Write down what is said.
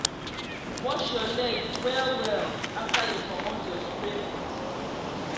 wash your leg well well after you commot your spray boot